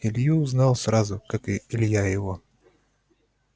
илью узнал сразу как и илья его